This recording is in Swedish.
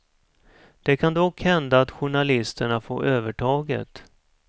Det kan dock hända att journalisterna får övertaget.